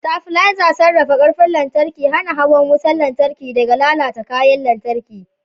Stabilizers sarrafa ƙarfin lantarki, hana hawan wutar lantarki daga lalata kayan lantarki.